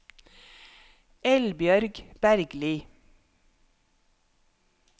Eldbjørg Bergli